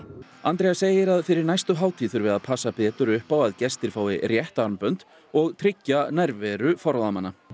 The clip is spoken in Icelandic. Andrea segir að fyrir næstu hátíð þurfi að passa betur upp á að gestir fái rétt armbönd og tryggja nærveru forráðamanna